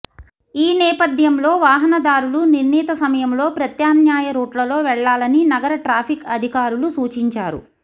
ఈ నేపథ్యంలో వాహనదారులు నిర్ణీత సమయంలో ప్రత్యామ్నాయ రూట్లలో వెళ్లాలని నగర ట్రాఫిక్ అధికారులు సూచించారు